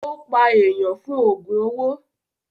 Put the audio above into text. Ó pa èèyàn fún ògùn owó.